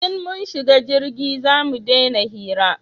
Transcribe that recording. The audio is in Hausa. In mun shiga jirgi zamu dena hira